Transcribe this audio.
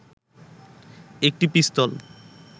একটি পিস্তল